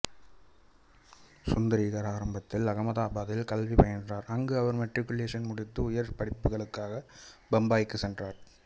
சுந்திரிகர் ஆரம்பத்தில் அகமதாபாத்தில் கல்வி பயின்றார் அங்கு அவர் மெட்ரிகுலேஷன் முடித்து உயர் படிப்புகளுக்காக பம்பாய்க்கு சென்றார்